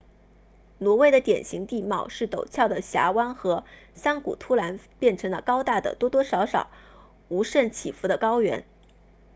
挪威的典型地貌是陡峭的峡湾和山谷突然变成了高大的多多少少无甚起伏的高原